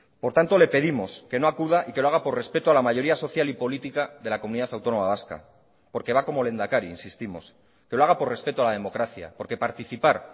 por tanto le pedimos que no acuda y que lo haga por respeto a la mayoría social y política de la comunidad autónoma vasca porque va como lehendakari insistimos que lo haga por respeto a la democracia porque participar